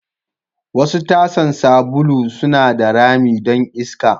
Wasu tasan sabulu suna da rami don iska.